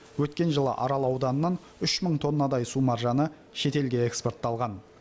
өткен жылы арал ауданынан үш мың тоннадай су маржаны шетелге экспортталған